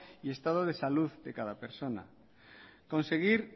y estado de salud de cada persona conseguir